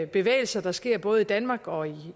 bevægelser der sker både i danmark og